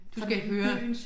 Du skal høre